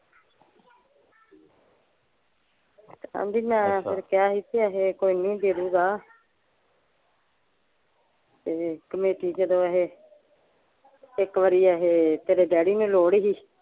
ਆਂਦੀ ਮੈਂ ਫੇਰ ਕਿਹਾ ਹੀ ਐਥੇ ਹਜੇ ਕੋਈ ਨਹੀਂ ਦੇ ਦੁ ਗਾ ਤੇ ਕਮੇਟੀ ਕਦੋਂ ਅਖੇ ਇੱਕ ਵਾਰੀ ਅਖੇ ਤੇਰੇ ਡੈਡੀ ਨੂੰ ਲੋੜ ਸੀ